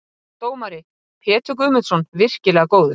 Dómari: Pétur Guðmundsson- virkilega góður.